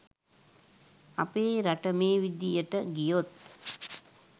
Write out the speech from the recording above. අපේ රට මේ විදියට ගියොත්